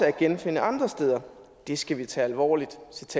at genfinde andre steder det skal vi tage alvorligt